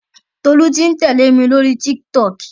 Tolú ti ń tẹ̀lé mi lóri Tiktok.